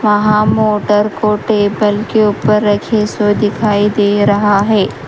वहाँ मोटर को टेबल के ऊपर रखे सो दिखाई दे रहा है।